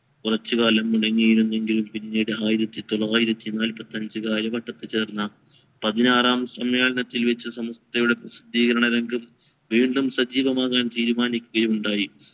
കൊറച്ചു കാലം തുടങ്ങീരുനെങ്കിൽ പിന്നീട് ആയിരത്തി തൊള്ളായിരത്തി നാലാപത്തഞ്ചു കാലഘട്ടത്തിൽ ചേർന്ന പതിനാറാം സമ്മേളനത്തിൽ വെച്ച് സമസ്‌തയുടെ പ്രസദ്ധീകരണ രംഗത് വീണ്ടും സജീവമാകാൻ തീരുമാനിക്കുകയുണ്ടായി